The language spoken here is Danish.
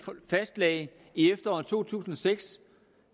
fastlagde i efteråret to tusind og seks